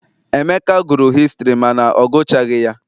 Emeka gụrụ hịstrị mana ọ gụchaghi ya.